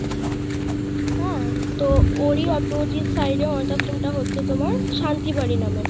হ্যাঁ তো ওর ই opposite side এ অনাথ আশ্রম টা হচ্ছে তোমার শান্তি বাড়ি নামে